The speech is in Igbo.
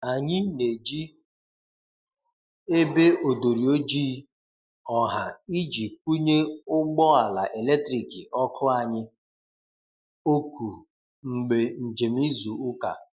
anyi n'eji ebe odori ojịị ọha iji kwunye ụgbọ ala eletrikị (ọkụ)anyi oku mgbe njem izu uka